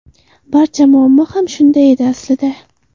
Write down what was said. Barcha muammo ham shunda edi aslida.